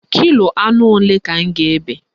Kilo anụ ole ka m ga-ebe?